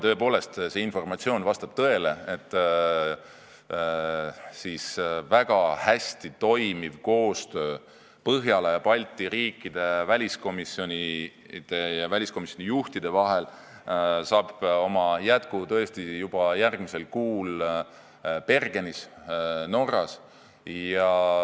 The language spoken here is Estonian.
Tõepoolest, see informatsioon vastab tõele, et väga hästi toimiv koostöö Põhjala ja Balti riikide väliskomisjonide ja väliskomisjoni juhtide vahel saab jätku tõesti juba järgmisel kuul Bergenis Norras.